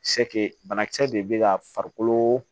bana kisɛ de be ka farikolo